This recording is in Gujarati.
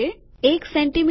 ૧ સેમી